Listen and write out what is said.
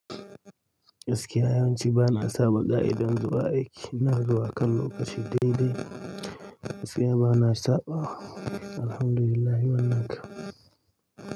Gaskiya yawanci ba na saba ƙa'idan zuwa aiki. Ina zuwa a kan lokaci dai dai. Gaskiya bana saɓawa Alhamdulillah wannan kam.